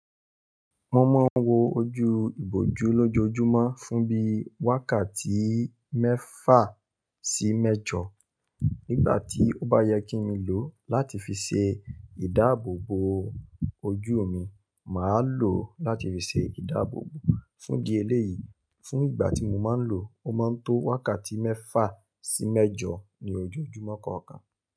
Mo máa ń wo ojú ìbòjú lójoojúmọ́ fún bí wákàtí mẹ́fà sí mẹ́jọ. Nígbà tí ó bá yẹ kí mi lò ó láti fi ṣe ìdáàbòbò ojú mi, màá lò ó láti fi ṣe ìdáàbòbò fún di ẹlẹ́yìí. Fún ìgbà tí mo máa ń lò ó, ó máa ń tó wákàtí mẹ́fà sí mẹ́jọ ní ojoojúmọ́ kọ̀ọ̀kan.